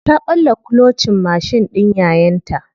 Ta ɓalla kulocin mashin ɗin yayanta.